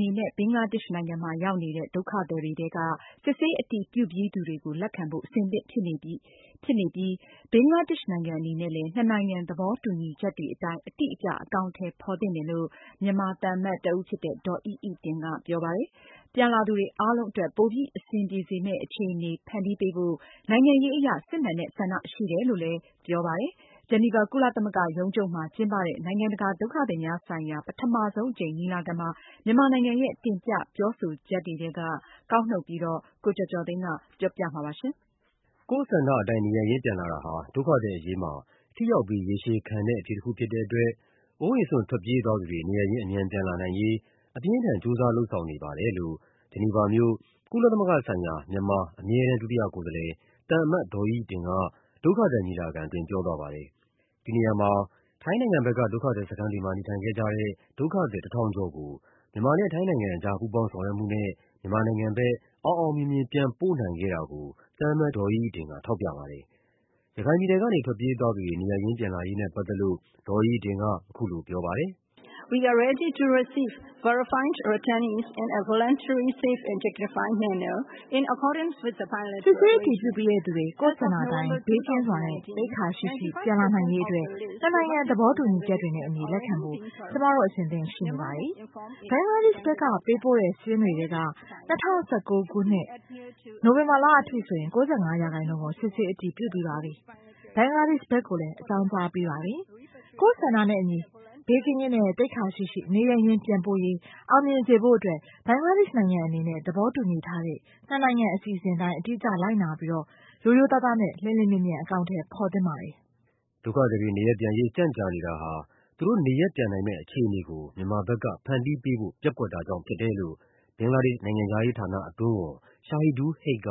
နေနဲ့ ဘင်္ဂလားဒေ့ရှ်နိုင်ငံမှာ ရောက်နေတဲ့ ဒုက္ခသည်တွေထဲက စစ်ဆေးအတည်ပြုပြီး သူတွေကို လက်ခံဖို့ အဆင်သင့်ဖြစ်နေပြီဖြစ်ပြီး ဘင်္ဂလားဒေ့ရှ်နိုင်ငံ အနေနဲ့လည်း နှစ်နိုင်ငံ သဘောတူညီချက်တွေ အတိုင်း အတိအကျ အကောင်အထည် ဖော်သင့်တယ်လို့ မြန်မာ သံအမတ်တဦးဖြစ်သူ ဒေါ်အိအိတင်က ပြောပါတယ်။ ပြန်လာသူတွေ အားလုံးအတွက် ပိုပြီး အဆင်ပြေစေမယ့် အခြေအနေ ဖန်တီးပေးဖို့ နိုင်ငံရေးအရ စစ်မှန်တဲ့ဆန္ဒ ရှိတယ်လို့လည်း ပြောပါတယ်။ ဂျီနီဗာ ကုလ သမဂ္ဂရုံးချုပ်မှာ ကျင်းပတဲ့ နိုင်ငံတကာ ဒုက္ခသည်များဆိုင်ရာ ပထမဆုံးအကြိမ် ညီလာခံမှာ မြန်မာနိုင်ငံရဲ့ တင်ပြပြောဆိုချက်ထဲက ကောက်နုတ်ပြီး ကိုကျော်ကျော်သိန်းက ပြောပြပါမယ်။ ကိုယ့်ဆန္ဒအတိုင်း နေရပ်ရင်း ပြန်လာတာဟာ ဒုက္ခသည်အရေး အတွက် ထိရောက်ပြီး ရေရှည်ခံတဲ့ အဖြေတခုဖြစ်တဲ့ အတွက် အိုးအိမ်စွန့် ထွက်ပြေးသွားသူတွေ နေရပ်ရင်း အမြန်ပြန်လာနိုင်ရေး အပြင်းအထန် ကြိုးစား လုပ်ဆောင်နေပါတယ်လို့ ဂျီနီဗာမြို့၊ ကုလသမဂ္ဂဆိုင်ရာ မြန်မာ အမြဲတမ်း ဒုတိယကိုယ်စားလှယ် သံအမတ် ဒေါ်အိအိတင်က ဒုက္ခသည် ညီလာခံ အတွင်း ပြောသွားပါတယ်။ ဒီနေရာမှာ မြန်မာနဲ့ ထိုင်းအကြား ပူးပေါင်းဆောင်ရွက်မှုနဲ့ ထိုင်းနိုင်ငံဘက်က စခန်းတွေမှာ နေထိုင်ခဲ့ကြတဲ့ ဒုက္ခသည် ၁,၀၀၀ ကျော်ကို မြန်မာနိုင်ငံဘက် အောင်အောင်မြင်မြင် ပြန်ပို့နိုင်ခဲ့တာကို သံအမတ် ဒေါ်အိအိတင်က ထောက်ပြပါတယ်။ ရခိုင်ပြည်နယ်ကနေ ထွက်ပြေးသွားသူတွေ နေရပ်ရင်းပြန်လာရေးနဲ့ပတ်သက်လို့ ဒေါ်အိအိတင်က အခုလို ပြောပါတယ်။ “စစ်ဆေးအတည်ပြုပြီး သူတွေ ကိုယ့်ဆန္ဒအတိုင်း၊ ဘေးကင်းစွာနဲ့ သိက္ခာရှိစွာ ပြန်လာနိုင်စေရေး နှစ်နိုင်ငံ သဘော တူညီချက်တွေနဲ့ အညီ လက်ခံဖို့ ကျမတို့ အဆင်သင့်ရှိနေပါတယ်။ ဘင်္ဂလားဒေ့ရှ်ဘက်က ပေးပို့ခဲ့တဲ့ စာရင်းထဲက ၂၀၁၉ ခုနှစ်၊ နိုဝင်ဘာလအထိဆိုရင် ၉၅ ရာခိုင်နှုန်း ကို စစ်ဆေးအတည်ပြုပြီးပါပြီ။ ဘင်္ဂလားဒေ့ရှ်ဘက်ကိုလည်း အကြောင်းကြားပြီးပါပြီ။ ကိုယ့်ဆန္ဒနဲ့ အညီ ဘေးကင်းစွာနဲ့ သိက္ခာရှိစွာ နေရပ်ရင်းပြန်ပို့ရေး အောင်မြင်စေဖို့အတွက် ဘင်္ဂလားဒေ့ရှ်နိုင်ငံ အနေနဲ့ သဘောတူညီထားတဲ့ နှစ်နိုင်ငံ အစီအစဉ်အတိုင်း အတိအကျ လိုက်နာပြီး ရိုးသားစွာနဲ့ လျင်မြန်စွာ အကောင်အထည် ဖော်သင့်ပါတယ်။” ဒုက္ခသည်တွေ နေရပ်ပြန်ရေး ကြန့်ကြာနေတာဟာ သူတို့ နေရပ်ပြန်နိုင်မယ့် အခြေအနေကို မြန်မာဘက်က ဖန်တီးပေးဖို့ ပျက်ကွက်တာကြောင့် ဖြစ်တယ်လို့ ဘင်္ဂလားဒေ့ရှ်နိုင်ငံခြားရေးဌာန အတွင်းဝန် Shahidul Haque က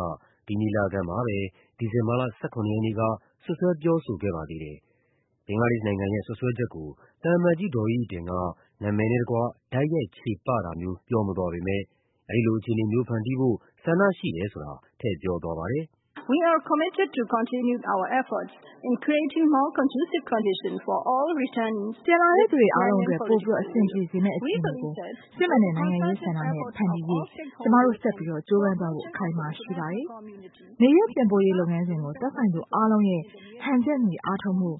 ဒီညီလာခံမှာပဲ ဒီဇင်ဘာလ ၁၇ ရက်နေ့က စွပ်စွဲပြောဆိုခဲ့ပါသေးတယ်။ ဘင်္ဂလားဒေ့ရှ်နိုင်ငံရဲ့ စွပ်စွဲချက်ကို သံအမတ် ဒေါ်အိအိတင်က နာမည်နဲ့တကွ တိုက်ရိုက် ချေပတာမျိုး ပြောမသွားပေမယ့် အဲဒီလိုအခြေအနေမျိုး ဖန်တီးဖို့ ဆန္ဒရှိတယ်ဆိုတာ ထည့်ပြောသွားပါတယ်။ “ပြန်လာသူ အားလုံးအတွက် ပိုပြီးအဆင်ပြေစေမယ့် အခြေအနေကို စစ်မှန်တဲ့ နိုင်ငံံရေးဆန္ဒနဲ့ ဖန်တီးရေး ကျမတို့ ဆက်ပြီး ကြိုးပမ်းသွားဖို့ အခိုင်အမာရှိပါတယ်။ နေရပ်ပြန်ပို့ရေး လုပ်ငန်းစဉ်ကို သက်ဆိုင်သူအားလုံးရဲ့ ဟန်ချက်ညီအားထုတ်မှု၊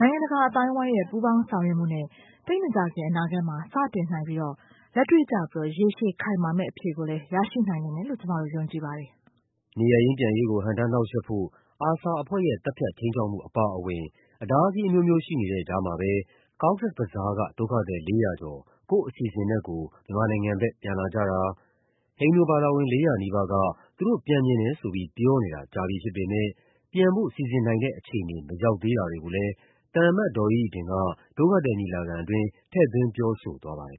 နိုင်ငံတကာအသိုင်းအဝိုင်းရဲ့ ပူးပေါင်းဆောင်ရွက်မှုနဲ့ သိပ်မကြာခင် အနာဂတ်မှာ စတင်နိုင်ပြီးတော့ လက်တွေ့ကျပြီး ရေရှည် ခိုင်မာမယ့် အဖြေကိုလည်း ရရှိနိုင်မယ်လို့ ကျမတို့ ယုံကြည်ပါတယ်။” နေရပ်ရင်းပြန်ရေးကို ဟန့်တားနှောင့်ယှက်ဖို့ ARSA အဖွဲ့ရဲ့ သတ်ဖြတ် ခြိမ်းခြောက်မှုအပါအဝင် အတားအဆီးအမျိုးမျိုး ရှိနေ တဲ့ကြားမှာပဲ Cox’s Bazar က ဒုက္ခသည် ၄၀၀ ကျော် ကိုယ့်အစီစဉ်နဲ့ကိုယ် မြန်မာနိုင်ငံဘက် ပြန်လာကြတာ၊ ဟိန္ဒူဘာသာဝင် ၄၀၀ နီးပါးက သူတို့ပြန်ချင်တယ်ဆိုပြီး ပြောနေတာ ကြာပြီဖြစ်ပေမယ့် ပြန်ဖို့စီစဉ်နိုင်တဲ့ အခြေအနေ မရောက်သေးတာတွေကို လည်း သံအမတ် ဒေါ်အိအိတင်က ဒုက္ခသည်ညီလာခံအတွင်း ထည့်သွင်း ပြောဆိုသွားပါတယ်